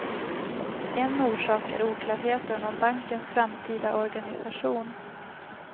En orsak är oklarheten om bankens framtida organisation.